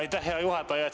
Aitäh, hea juhataja!